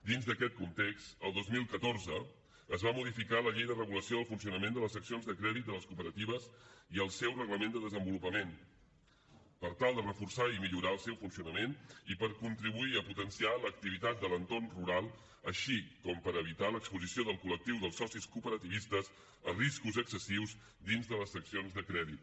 dins d’aquests context el dos mil catorze es va modificar la llei de regulació del funcionament de les seccions de crèdit de les cooperatives i el seu reglament de desenvolupament per tal de reforçar i millorar el seu funcionament i per contribuir a potenciar l’activitat de l’entorn rural com també per evitar l’exposició del col·lectiu dels socis cooperativistes a riscos excessius dins de les seccions de crèdit